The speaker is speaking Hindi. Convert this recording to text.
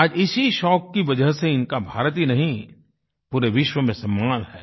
आज इसी शौक की वजह से इनका भारत ही नहीं पूरे विश्व में सम्मान है